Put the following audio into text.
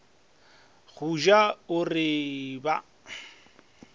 go ja o re ba